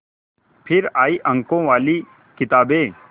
फिर आई अंकों वाली किताबें